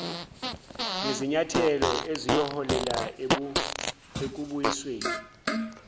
ngezinyathelo eziyoholela ekubuyisweni